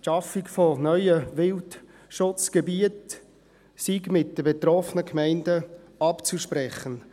Die Schaffung neuer Wildschutzgebiete sei mit den betroffenen Gemeinden abzusprechen.